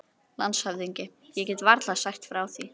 LANDSHÖFÐINGI: Ég get varla sagt frá því.